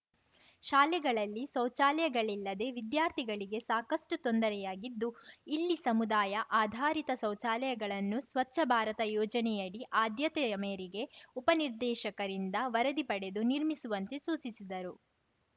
ಶಾಲೆಗಳಲ್ಲಿ ಶೌಚಾಲಯಗಳಿಲ್ಲದೆ ವಿದ್ಯಾರ್ಥಿಗಳಿಗೆ ಸಾಕಷ್ಟುತೊಂದರೆಯಾಗಿದ್ದು ಇಲ್ಲಿ ಸಮುದಾಯ ಆಧಾರಿತ ಶೌಚಾಲಯಗಳನ್ನು ಸ್ವಚ್ಛ ಭಾರತ ಯೋಜನೆಯಡಿ ಆದ್ಯತೆಯ ಮೇರೆಗೆ ಉಪನಿರ್ದೇಶಕರಿಂದ ವರದಿ ಪಡೆದು ನಿರ್ಮಿಸುವಂತೆ ಸೂಚಿಸಿದರು